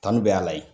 Kanu bɛ a la yen